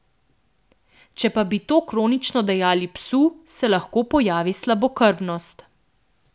Če pa bi to kronično dajali psu, se lahko pojavi slabokrvnost.